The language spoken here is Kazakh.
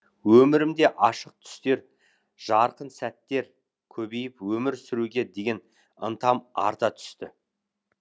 өмірімде ашық түстер жарқын сәттер көбейіп өмір сүруге деген ынтам арта түсті